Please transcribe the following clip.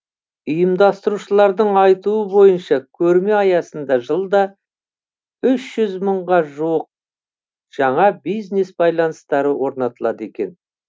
ұйымдастырушылардың айтуы бойынша көрме аясында жылда үш жүз мыңға жуық жаңа бизнес байланыстары орнатылады екен